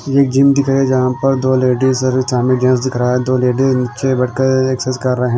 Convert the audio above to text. ये एक जिम दिख रहा है जहां पर दो लेडीज और एक सामने जेंट्स दिख रहा है दो लेडीज नीचे बैठकर एक्सेस कर रहे हैं।